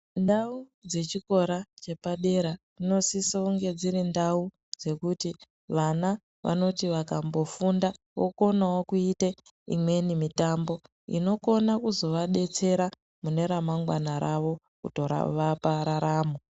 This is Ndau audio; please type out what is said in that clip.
Ndau dzechikora chepadera dzinosiso kunge dziri ndau dzekuti vana vanoti vakambofunda vokonawo kuite imweni mitambo inokone kuzovadetsera muneremangwana ravo kutovape ndaramo.